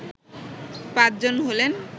পাঁচজন হলেন